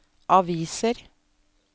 aviser